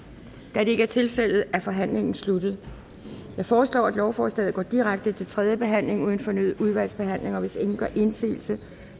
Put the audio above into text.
da det ikke er tilfældet er forhandlingen sluttet jeg foreslår at lovforslaget går direkte til tredje behandling uden fornyet udvalgsbehandling hvis ingen gør indsigelse